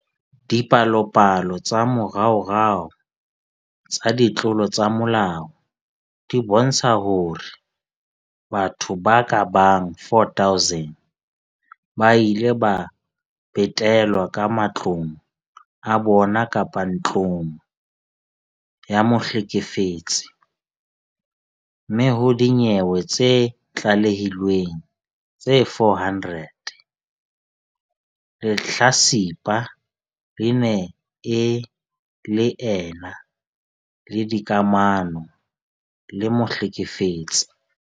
Dipalopalo tsa moraorao tsa ditlolo tsa molao di bontsha hore batho ba ka bang 4 000 ba ile ba betelwa ka matlong a bona kapa ntlong ya mohlekefetsi, mme ho dinyewe tse tlalehilweng tse 400, lehlatsipa le ne le ena le dikamano le mohlekefetsi.